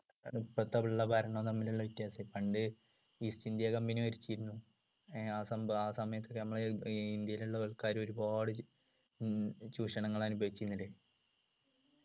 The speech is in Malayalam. ഇപ്പോത്തെ ഉള്ള ഭരണവും തമ്മിലുള്ള വ്യത്യാസം പണ്ട് east ഇന്ത്യ company ഭരിച്ചിരുന്നു ഏർ ആ സംഭ ആ സമയത്തു നമ്മളെ ഈ ഇന്ത്യയിലുള്ള ആൾക്കാര് ഒരുപാട് ഉം ചൂഷണങ്ങൾ അനുഭവിച്ചിനിടെ